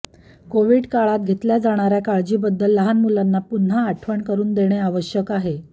Covid काळात घेतल्या जाणाऱ्या काळजीबद्दल लहान मुलांना पुन्हा आठवण करून देणे आवश्यक आहे